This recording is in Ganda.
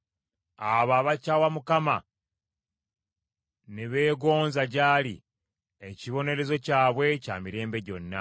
Abo abakyawa Mukama ne beegonza gy’ali; ekibonerezo kyabwe kya mirembe gyonna.